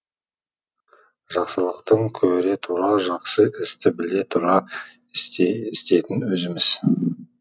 жақсылықтың көре тұра жақсы істі біле тұра істейтін өзіміз